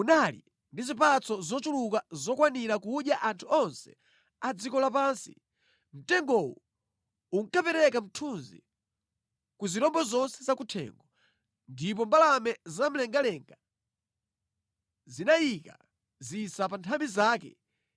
unali ndi zipatso zochuluka zokwanira kudya anthu onse a dziko lapansi. Mtengowu unkapereka mthunzi ku zirombo zonse zakuthengo, ndipo mbalame zamlengalenga zinayika zisa pa nthambi zake.